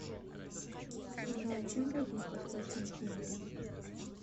джой чем платить в восточном тиморе